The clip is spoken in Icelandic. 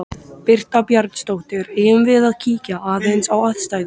Birta Björnsdóttir: Eigum við að kíkja aðeins á aðstæður?